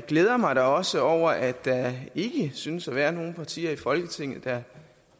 glæder mig da også over at der ikke synes at være nogen partier i folketinget der